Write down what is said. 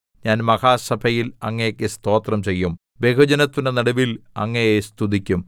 ഞാൻ മഹാസഭയിൽ അങ്ങേക്ക് സ്തോത്രം ചെയ്യും ബഹുജനത്തിന്റെ നടുവിൽ അങ്ങയെ സ്തുതിക്കും